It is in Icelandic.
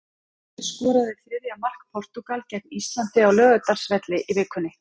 Hver skoraði þriðja mark Portúgal gegn Íslandi á Laugardalsvelli í vikunni?